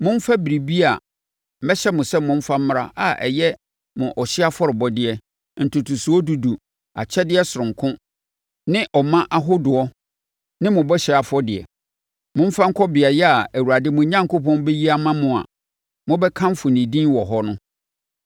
momfa biribiara a mɛhyɛ mo sɛ momfa mmra a ɛyɛ mo ɔhyeɛ afɔrebɔdeɛ, ntotosoɔ dudu, akyɛdeɛ sononko ne mo ɔma ahodoɔ ne mo bɔhyɛ afɔdeɛ. Momfa nkɔ beaeɛ a Awurade mo Onyankopɔn bɛyi ama mo a mobɛkamfo ne din wɔ hɔ no.